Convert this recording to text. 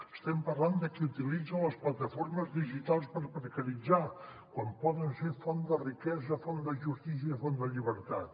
estem parlant de qui utilitza les plataformes digitals per precaritzar quan poden ser font de riquesa font de justícia font de llibertat